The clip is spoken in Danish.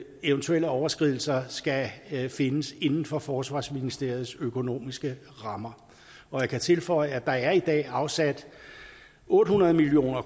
eventuelle overtrædelser skal findes inden for forsvarsministeriets økonomiske rammer og jeg kan tilføje at der i dag er afsat otte hundrede million